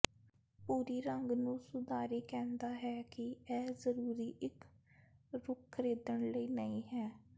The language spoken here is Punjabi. ਭੂਰੀ ਰੰਗ ਨੂੰ ਸੁਧਾਰੀ ਕਹਿੰਦਾ ਹੈ ਕਿ ਇਹ ਜ਼ਰੂਰੀ ਇੱਕ ਰੁੱਖ ਖਰੀਦਣ ਲਈ ਨਹੀ ਹੈ